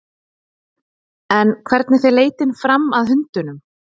En hvernig fer leitin fram að hundunum?